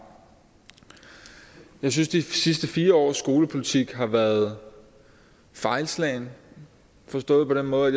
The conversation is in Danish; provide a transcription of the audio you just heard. jeg synes at de sidste fire års skolepolitik har været fejlslagen forstået på den måde